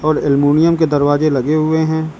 और एल्यूमीनियम के दरवाजे लगे हुए हैं।